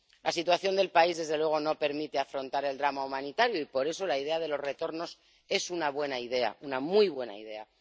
La situación del país desde luego no permite afrontar el drama humanitario y, por eso, la idea de los retornos es una buena idea, una muy buena idea.